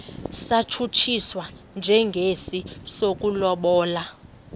satshutshiswa njengesi sokulobola